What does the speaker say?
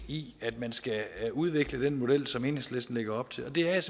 i at man skal udvikle den model som enhedslisten lægger op til det er jeg